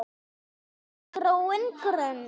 gróin grund!